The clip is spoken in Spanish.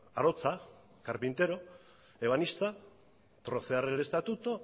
arotza carpintero ebanista trocear el estatuto